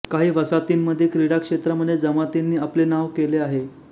काही वसाहतींमध्ये क्रिडा क्षेत्रामध्ये जमातींनी आपले नांव केले होते